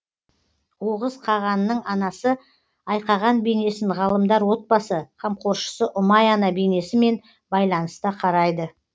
оғыз қағанның анасы айқаған бейнесін ғалымдар отбасы қамқоршысы ұмай ана бейнесімен байланыста қарайды